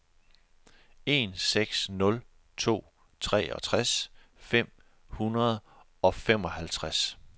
en seks nul to treogtres fem hundrede og femoghalvtreds